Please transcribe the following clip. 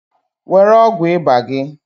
Were ọgwụ iba gị!